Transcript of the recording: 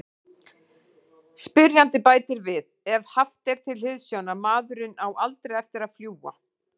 Spyrjandi bætir við: Ef haft er til hliðsjónar:.maðurinn á ALDREI eftir að fljúga.